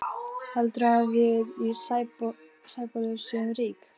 Heldurðu að við í Sæbóli séum rík?